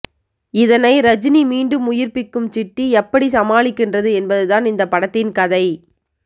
இதனை ரஜினி மீண்டும் உயிர்ப்பிக்கும் சிட்டி எப்படி சமாளிக்கின்றது என்பதுதான் இந்த படத்தின் கதை